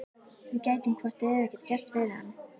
Við gætum hvort eð er ekkert gert fyrir hann.